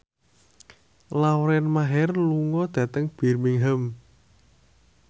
Lauren Maher lunga dhateng Birmingham